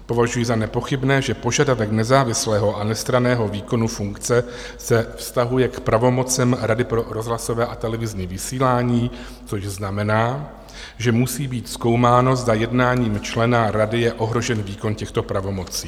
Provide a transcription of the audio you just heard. Považuji za nepochybné, že požadavek nezávislého a nestranného výkonu funkce se vztahuje k pravomocem Rady pro rozhlasové a televizní vysílání, což znamená, že musí být zkoumáno, zda jednáním člena rady je ohrožen výkon těchto pravomocí.